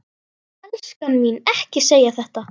Elskan mín, ekki segja þetta!